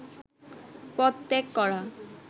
পদত্যাগ করা